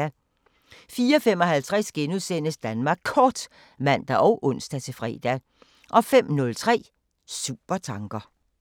04:55: Danmark Kort *(man og ons-fre) 05:03: Supertanker